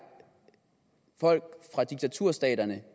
folk fra diktaturstaterne